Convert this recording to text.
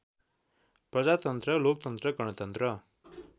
प्रजातन्त्र लोकतन्त्र गणतन्त्र